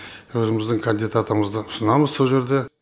өзіміздің кандидатымызды ұсынамыз сол жерде